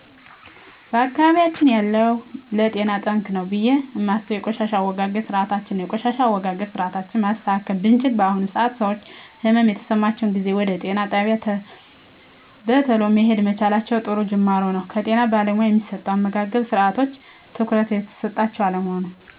በአካባቢያችን ያለው ለጤና ጠንቅ ነው ብየ እማስበው የቆሻሻ አወጋገድ ስርአታችን ነው የቆሻሻ አወጋገድ ስርአታችን ማስተካከል ብችል በአሁኑ ሰአት ሰወች ህመም በተሰማቸው ጊዜ ወደ ጤና ጣቢያ በተሎ መሄድ መቻላቸው ጥሩ ጁማሮ ነው ከጤና ባለሙያ እሚሰጡ የአመጋገብስርአቶች ትኩረት እየተሰጣቸው አለመሆኑ